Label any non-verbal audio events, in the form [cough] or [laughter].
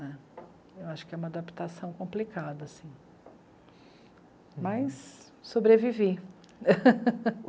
Acho que é uma adaptação complicada assim, mas sobrevivi. [laughs]